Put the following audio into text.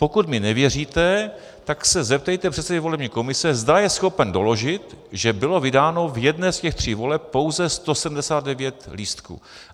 Pokud mi nevěříte, tak se zeptejte předsedy volební komise, zda je schopen doložit, že bylo vydáno v jedné z těch tří voleb pouze 179 lístků.